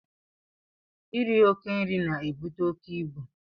Iri oke nri na-ebute oke ibu.